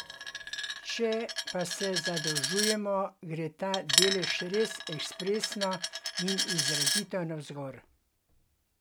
Če pa se zadolžujemo, gre ta delež res ekspresno in izrazito navzgor.